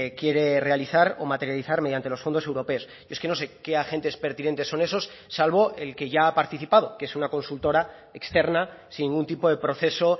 quiere realizar o materializar mediante los fondos europeos es que no sé qué agentes pertinentes son esos salvo el que ya ha participado que es una consultora externa sin ningún tipo de proceso